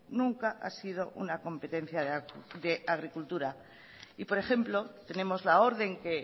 nunca ha sido una competencia de agricultura y por ejemplo tenemos la orden que